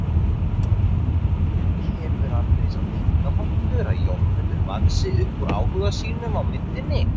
En kemur aldrei sá tímapunktur að Jórmundur vaxi upp úr áhuga sínum á myndinni?